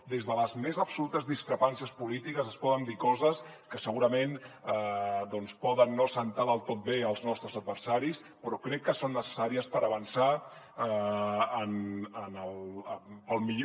des de les més absolutes discrepàncies polítiques es poden dir coses que segurament doncs poden no sentar del tot bé als nostres adversaris però crec que són necessàries per avançar en millor